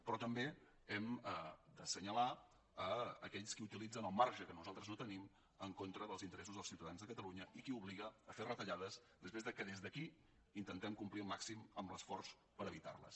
però també hem d’assenyalar aquells que utilitzen el marge que nosaltres no tenim en contra dels interessos dels ciutadans de catalunya i els qui obliguen a fer retallades després que des d’aquí intentem complir al màxim amb l’esforç per evitar les